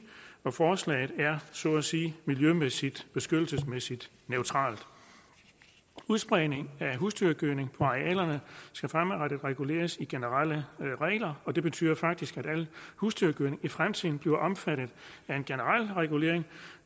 forslaget er så at sige miljømæssigt beskyttelsesmæssigt neutralt udspredningen af husdyrgødning på arealerne skal fremadrettet reguleres i generelle regler og det betyder faktisk at alt husdyrgødning i fremtiden bliver omfattet af en generel regulering